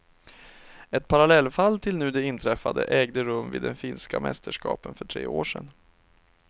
Ett parallellfall till nu det inträffade ägde rum vid de finska mästerskapen för tre år sen.